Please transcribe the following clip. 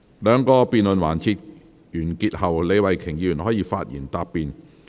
兩個辯論環節完結後，李慧琼議員可發言答辯。